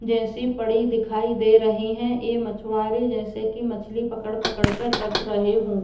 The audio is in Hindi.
जैसी पड़ी दिखाई दे रही हैं। ये मछवारे जैसे के मछली पकड़-पकड़ कर रख रहे हों।